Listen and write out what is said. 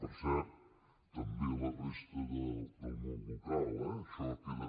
per cert també la resta del món local eh això queda